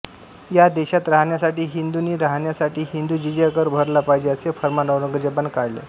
या देशात राहण्यासाठी हिंदूंनी राहण्यासाठी हिंदू जिझिया कर भरला पाहिजे असे फर्मान औरंगजेबाने काढले